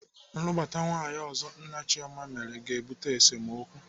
Nlụbata nwaanyị ọzọ nna Chioma mere ga-ebute esemokwu.